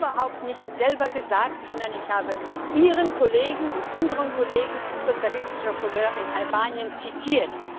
Ich habe überhaupt nichts selbst gesagt, sondern ich habe Ihren und unseren Kollegen sozialistischer Couleur in Albanien zitiert.